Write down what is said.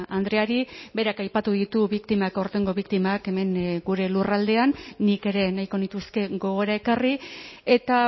andreari berak aipatu ditu biktimak aurtengo biktimak hemen gure lurraldean nik ere nahiko nituzke gogora ekarri eta